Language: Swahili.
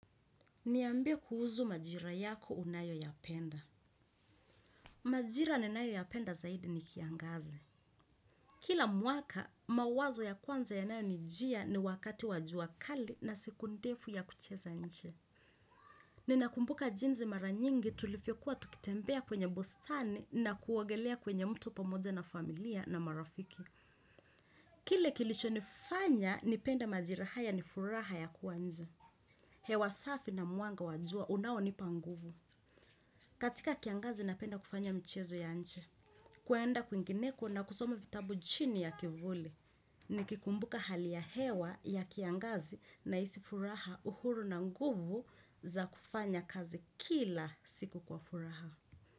Niambie kuhusu majira yako unayo yapenda. Majira ninayo yapenda zaidi ni kiangazi. Kila mwaka, mawazo ya kwanza yanayo nijia ni wakati wa jua kali na siku ndefu ya kucheza nje. Ninakumbuka jinsi mara nyingi tulivyokuwa tukitembea kwenye bustani na kuogelea kwenye mto pamoja na familia na marafiki. Kile kilichonifanya, nipenda majira haya ni furaha ya kuwa nje. Hewa safi na mwanga wa jua, unaonipa nguvu. Katika kiangazi napenda kufanya mchezo ya nje, kwenda kwingineko na kusoma vitabu chini ya kivuli nikikumbuka hali ya hewa ya kiangazi naisi furaha uhuru na nguvu za kufanya kazi kila siku kwa furaha.